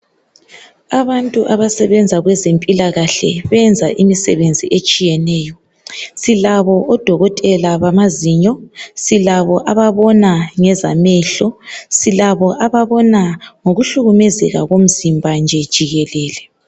Abantu abasebenza kwezempilakahle benza imisebenzi etshiyeneyo silabo odokotela bamazinyo silabo ababona ngezamehlo silabo ababona ngokuhlukumezeka komsimba nje jikelele.